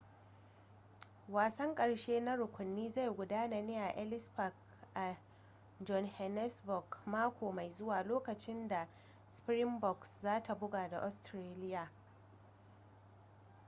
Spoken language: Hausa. wasan karshe na rukunin zai gudana ne a ellis park a johannesburg mako mai zuwa lokacin da springboks za ta buga da australia